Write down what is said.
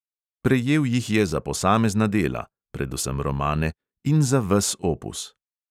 Prejel jih je za posamezna dela (predvsem romane) in za ves opus.